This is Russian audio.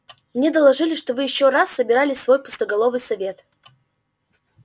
мне доложили что вы ещё раз собирали свой пустоголовый совет